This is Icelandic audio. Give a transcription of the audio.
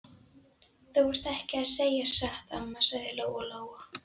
Þú ert ekki að segja satt, amma, sagði Lóa-Lóa.